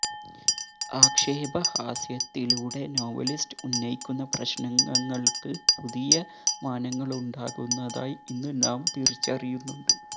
ആക്ഷേപ ഹാസ്യത്തിലൂടെ നോവലിസ്റ്റ് ഉന്നയിക്കുന്ന പ്രശ്നങ്ങള്ക്ക് പുതിയ മാനങ്ങളുണ്ടാകുന്നതായി ഇന്ന് നാം തിരിച്ചറിയുന്നുണ്ട്